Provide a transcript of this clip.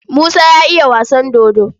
Musa ya iya wasan dodo.